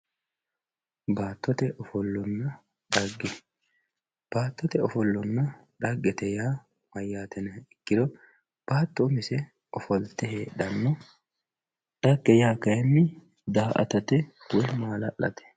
baattote ofollonna xagge baattote ofollonna xagge yaa mayyate yinha ikkiro baatto umisenni ofolte heedhanno xagge yaa kayiinni daa''atate woyi maala'late.